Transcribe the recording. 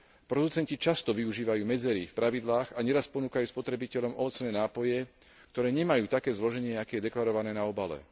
Producenti často využívajú medzery v pravidlách a neraz ponúkajú spotrebiteľom ovocné nápoje, ktoré nemajú také zloženie, aké je deklarované na obale.